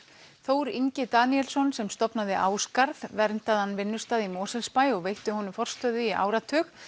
Þór Ingi Daníelsson sem stofnaði Ásgarð verndaðan vinnustað í Mosfellsbæ og veitti honum forstöðu í áratug